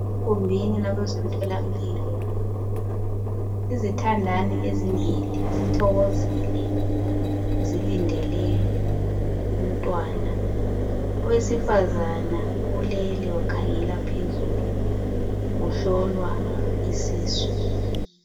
Egumbini labezemtholampilo. Izithandani ezimbili zithokozile zilindele umntwana. Owesifazana ulele wakhangela phezulu uhlolwa isisu.